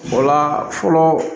O la fɔlɔ